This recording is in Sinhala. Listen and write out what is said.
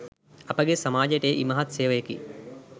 අපගේ සමාජයට එය ඉමහත් සේවයකි.